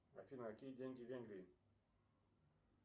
афина какие деньги в венгрии